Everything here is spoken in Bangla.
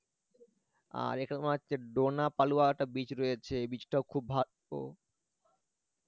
আর এখানে তোমার হচ্ছে একটা beach রয়েছে এই beach টাও খুব ভালো